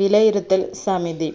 വിലയിരുത്തൽ സമിതി